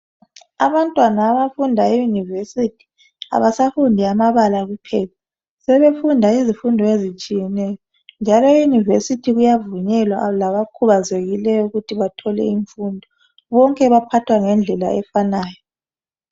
Abantwana abafunda eYunivesithi abasafundi amabala kuphela sebefunda izifundo ezitshiyeneyo njalo eYunivesithi kuyavunyelwa labakhubazekileyo ukuthi bathole imfundo bonke baphathwa ngendlela efanayo.